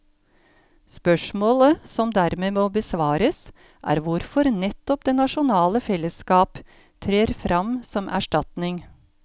Spørsmålet som dermed må besvares, er hvorfor nettopp det nasjonale fellesskap trer fram som erstatning.